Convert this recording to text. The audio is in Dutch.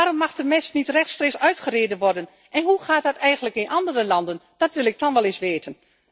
Waarom mag de mest niet rechtstreeks uitgereden worden en hoe gaat dat eigenlijk in andere landen? Dat wil ik dan wel eens weten.